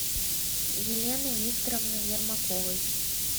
еленой викторовной ермаковой